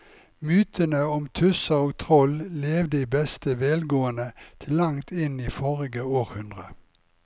Mytene om tusser og troll levde i beste velgående til langt inn i forrige århundre.